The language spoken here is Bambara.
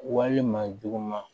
Walima juguman